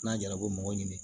N'a jara a b'o mɔgɔ ɲini